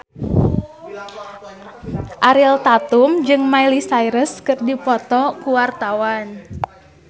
Ariel Tatum jeung Miley Cyrus keur dipoto ku wartawan